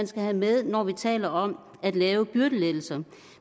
skal have med når vi taler om at lave byrdelettelser